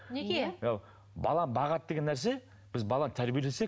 неге бала бағады деген нәрсе біз баланы тәрбиелесек